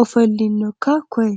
ofollinoikka koye